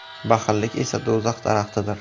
Baxillik esa do‘zax daraxtidir.